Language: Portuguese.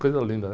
Coisa linda, né?